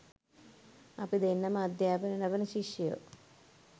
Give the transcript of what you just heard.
අපි දෙන්නම අධ්‍යාපනය ලබන ශිෂ්‍යයෝ